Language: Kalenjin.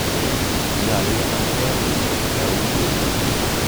Nyalu kenamke eun keyum piik.